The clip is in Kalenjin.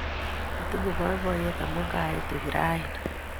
Atinye poipoiyet amun kaitu yu raini